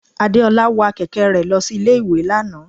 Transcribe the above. Adeola wa kẹkẹ re losí Ilé ìwè Lana.